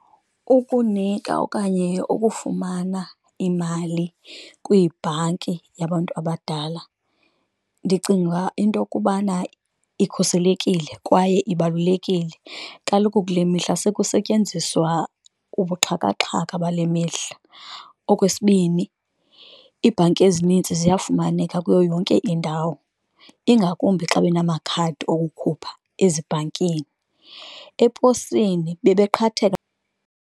Ukunika okanye ukufumana imali kwibhanki yabantu abadala ndicinga into yokubana ikhuselekile kwaye ibalulekile, kaloku kule mihla sekusetyenziswa ubuxhakaxhaka bale mihla. Okwesibini, iibhanki ezinintsi ziyafumaneka kuyo yonke indawo ingakumbi xa benamakhadi okukhupha ezibhankini, eposini bebeqhatheka.